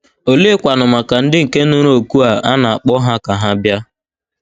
Oleekwanụ maka ndị nke nụrụ òkù a na - akpọ ha ka ha “ bịa ”?